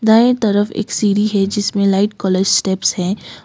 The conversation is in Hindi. दाएं तरफ एक सीढ़ी है जिसमें लाइट कलर स्टेप्स हैं।